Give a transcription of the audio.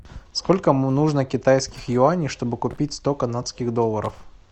сколько нужно китайских юаней чтобы купить сто канадских долларов